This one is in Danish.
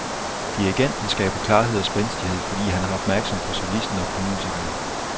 Dirigenten skaber klarhed og spændstighed, fordi han er opmærksom på solisten og på musikerne.